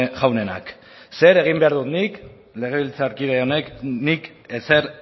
jaunenak zer egin behar dut nik legebiltzarkide honek nik ezer